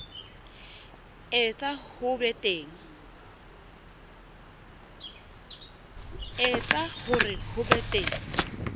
etsa hore ho be teng